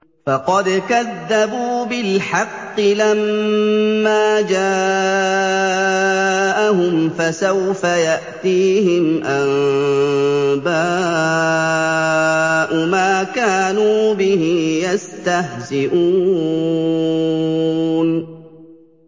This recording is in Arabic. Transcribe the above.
فَقَدْ كَذَّبُوا بِالْحَقِّ لَمَّا جَاءَهُمْ ۖ فَسَوْفَ يَأْتِيهِمْ أَنبَاءُ مَا كَانُوا بِهِ يَسْتَهْزِئُونَ